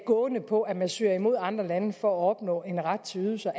gående på at man søger imod andre lande for at opnå en ret til ydelser